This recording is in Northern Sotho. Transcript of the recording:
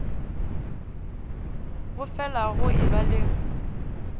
go felago go eba le